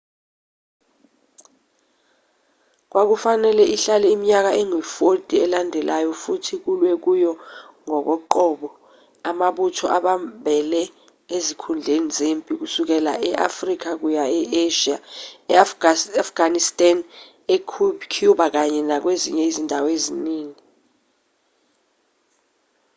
kwakufanele ihlale iminyaka engu-40 elandelayo futhi kulwe kuyo ngokoqobo amabutho abambele ezinkundleni zempi kusukela e-afrika kuya e-asia e-afghanistan ecuba kanye nakwezinye izindawo eziningi